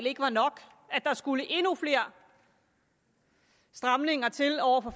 ikke var nok og at der skulle endnu flere stramninger til over for